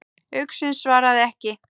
Uxinn svaraði ekki.